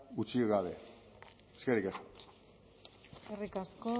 utzi gabe eskerrik asko